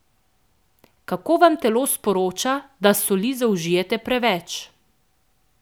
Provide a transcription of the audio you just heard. Kako vam telo sporoča, da soli zaužijete preveč?